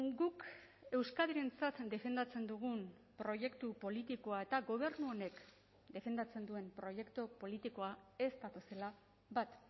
guk euskadirentzat defendatzen dugun proiektu politikoa eta gobernu honek defendatzen duen proiektu politikoa ez datozela bat